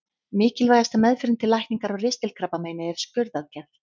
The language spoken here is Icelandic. Mikilvægasta meðferðin til lækningar á ristilkrabbameini er skurðaðgerð.